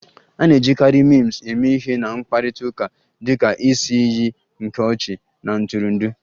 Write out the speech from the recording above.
A na-ejikarị Memes eme ihe na mkparịta ụka dị ka isi iyi nke ọchị na ntụrụndụ